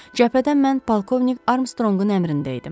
Cəbhədə mən polkovnik Armstrongun əmrində idim.